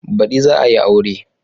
Baɗi za a yi aure